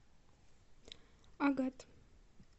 агат